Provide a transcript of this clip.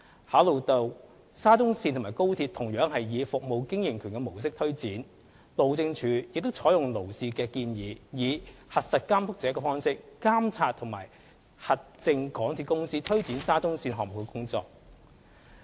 考慮到沙中線與高鐵同樣以"服務經營權"模式推展，路政署亦採用勞氏的建議，以"核實監督者"的方式監察和核證港鐵公司推展沙中線項目的工作。